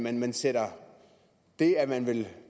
at man sætter det at man vil